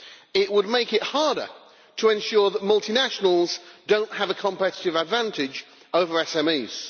It would make it harder to ensure that multinationals do not have a competitive advantage over SMEs.